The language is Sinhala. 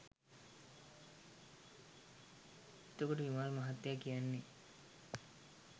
එත කොට විමල් මහත්තය කියන්නේ